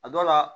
A dɔ la